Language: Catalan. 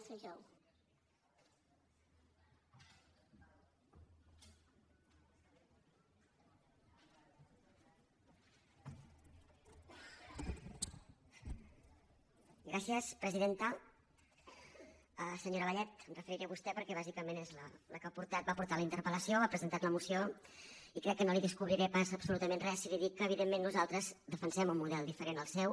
senyora vallet em referiré a vostè perquè bàsicament és la que va portar la interpellació ha presentat la moció i crec que no li descobriré pas absolutament res si li dic que evidentment nosaltres defensem un model diferent del seu